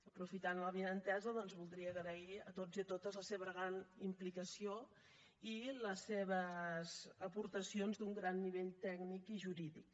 aprofitant l’avinentesa doncs voldria agrair a tots i a totes la seva gran implicació i les seves aportacions d’un gran nivell tècnic i jurídic